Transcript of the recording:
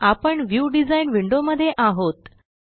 आपण view design window मध्ये आहोत